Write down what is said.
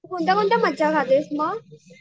कोणत्या कोणत्या मच्छया खातेस मग?